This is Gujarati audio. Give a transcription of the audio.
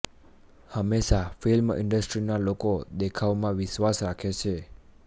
હંમેશા ફિલ્મ ઇન્ડસ્ટ્રી ના લોકો દેખાવા માં વિશ્વાસ રાખે છે